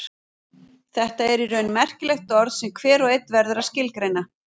Þetta er í raun merkilegt orð sem hver og einn verður að skilgreina.